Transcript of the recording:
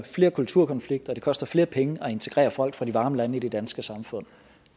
flere kulturkonflikter og det koster flere penge at integrere folk fra de varme lande i det danske samfund